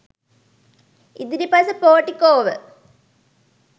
ඉදිරිපස පෝටිකෝව